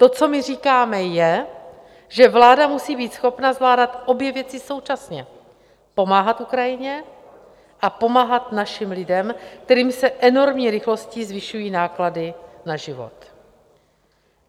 To, co my říkáme, je, že vláda musí být schopna zvládat obě věci současně - pomáhat Ukrajině a pomáhat našim lidem, kterým se enormní rychlostí zvyšují náklady na život.